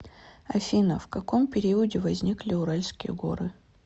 афина в каком периоде возникли уральские горы